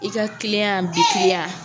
I ka tiliyan, bi timiya